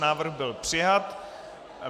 Návrh byl přijat.